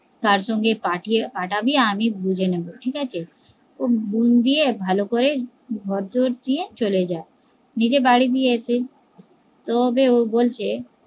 তার সঙ্গে পাঠাবি আমি বুজে নেবো ঠিকাছে ও বোন দিয়ে ভালোকরে ঘর দিয়ে চলে যায়, নিজে বাড়ি দিয়ে এসে তবে ও বলছে